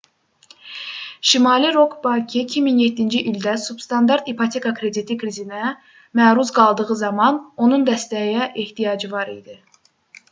şimali rock bankı 2007-ci ildə substandart ipoteka krediti krizinə məruz qaldığı zaman onun dəstəyə ehtiyacı var idi